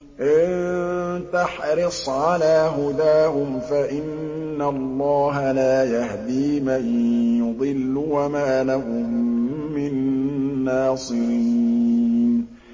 إِن تَحْرِصْ عَلَىٰ هُدَاهُمْ فَإِنَّ اللَّهَ لَا يَهْدِي مَن يُضِلُّ ۖ وَمَا لَهُم مِّن نَّاصِرِينَ